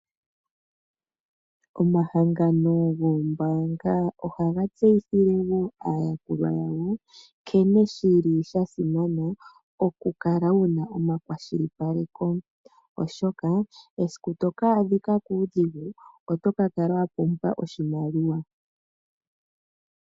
Omahangano goombaanga ohaga tseyithile woo aayakulwa yawo nkene shili shasimana okukala wuna omakwashili paleko oshoka esiku toka adhikwa kuudhigu oto kala wa pumbwa oshimaliwa.